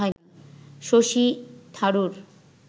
Shashi Tharoor